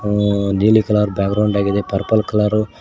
ಹ ನೀಲಿ colour background ಆಗಿದೆ ಪರ್ಪಲ್ ಕಲರು--